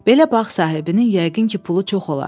Belə bağ sahibinin yəqin ki, pulu çox olar.